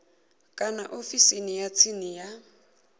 kana ofisini ya tsini ya